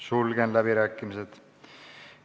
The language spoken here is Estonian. Sulgen läbirääkimised.